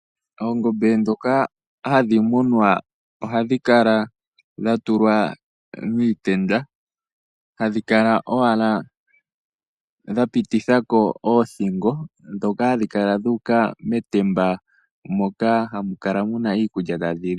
Oongombe ndhoka hadhi munwa ohadhi kala dhatulwa miitenda , hadhi kala owala dhapitithako oothingo ndhoka hadhi kala dhuuka metemba moka hamu kala muna iikulya tadhi li.